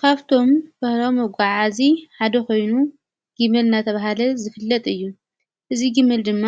ካፍቶም ባህላዊ መጓዓዓዚ ሓደ ኾይኑ ጊመል ናተብሃለ ዝፍለጥ እዩ። እዚ ጊመል ድማ